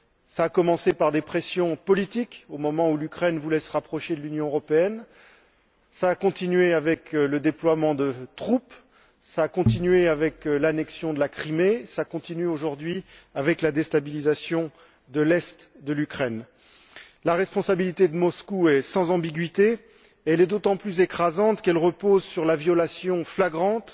Cela a commencé par des pressions politiques, au moment où l'Ukraine voulait se rapprocher de l'Union européenne, cela a continué avec le déploiement de troupes, cela a continué avec l'annexion de la Crimée, cela continue aujourd'hui avec la déstabilisation de l'Est de l'Ukraine. La responsabilité de Moscou est sans ambigüité, et elle est d'autant plus écrasante qu'elle repose sur la violation flagrante